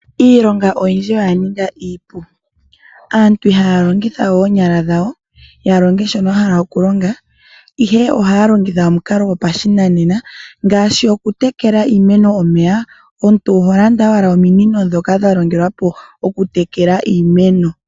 Iilonga oyindji oya ninga iipu, aantu ihaya longitha we oonyala dhawo ya longe shono ya hala oku longa. Ihe ohaya longitha omukalo go pashinanena ngaashi oku tekela iimeno omeya omuntu oho landa owala ominino dhoka dhalongelwa po oku tekela iimeno.